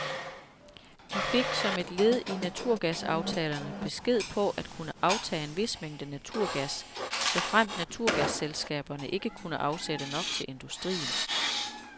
De fik som et led i naturgasaftalerne besked på at kunne aftage en vis mængde naturgas, såfremt naturgasselskaberne ikke kunne afsætte nok til industrien.